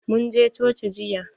Mun je coci jiya.